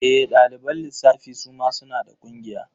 E, ɗaliban lissafi suma suna da ƙungiya.